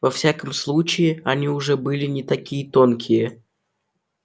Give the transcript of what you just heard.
во всяком случае они уже были не такие тонкие